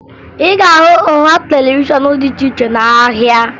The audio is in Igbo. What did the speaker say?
Ị ga-ahụ nha televishọn dị iche iche n'ahịa